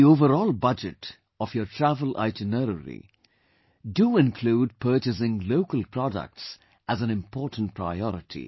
In the overall budget of your travel itinerary, do include purchasing local products as an important priority